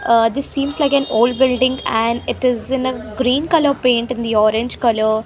ah this seems like an old building and it is in a green color paint in the orange color .